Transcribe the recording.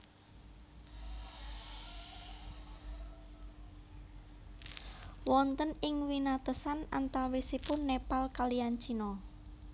Wonten ing winatesan antawisipun Nepal kaliyan Cina